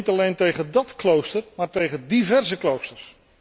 En niet alleen tegen dat klooster, maar tegen diverse kloosters.